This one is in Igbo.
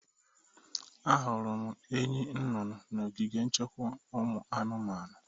Ahụrụ m enyi nụnụnụ n'ogige nchekwa ụmụ anụmanụ.